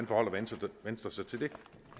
forholder venstre sig til det